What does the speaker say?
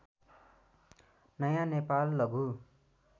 नयाँ नेपाल लघु